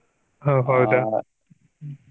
ಹೊ ಹೌದಾ?